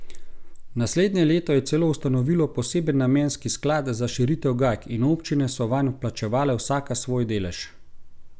Naslednje leto je celo ustanovilo poseben namenski sklad za širitev Gajk in občine so vanj vplačevale vsaka svoj delež.